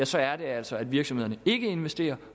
så er det altså at virksomhederne ikke investerer